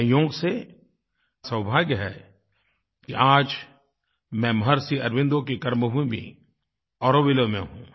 संयोग से सौभाग्य है कि आज मैं महर्षि अरबिन्दो की कर्मभूमि ऑरोविले में हूँ